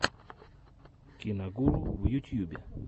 киногуру в ютьюбе